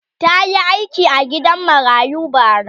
ta Yi aiki a gidan marayu bara